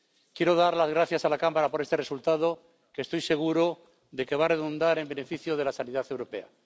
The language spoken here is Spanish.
Quiero dar las gracias a la Cámara por este resultado, que estoy seguro de que va a redundar en beneficio de la sanidad europea.